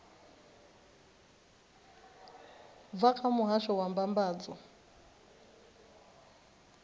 bva kha muhasho wa mbambadzo